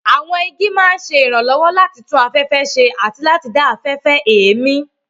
Àwọn igi máa ń ṣe ìrànlọ́wọ́ láti tún afẹ́fẹ́ ṣe àti láti dá afẹ́fẹ́ èémí.